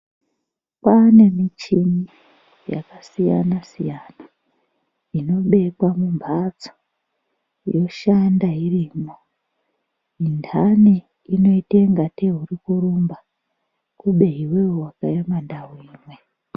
Kwane mishini yakasiyana-siyana, inobekwa mumhatso yoshanda irimwo. Mindani inoite kunge tee urikurumba kube iveve vakaema ndau imwe.